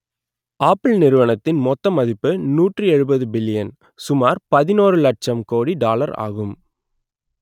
apple நிறுவனத்தின் மொத்த மதிப்பு நூற்று எழுபது பில்லியன் சுமார் பதினோறு இலட்சம் கோடி டாலர் ஆகும்